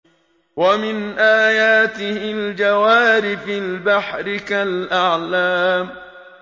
وَمِنْ آيَاتِهِ الْجَوَارِ فِي الْبَحْرِ كَالْأَعْلَامِ